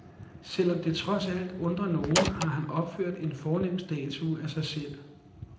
Selvom det trods alt undrer nogen, har han opført en fornem statue af sig selv.